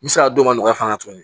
N bɛ se ka dɔn ka nɔgɔya fana tuguni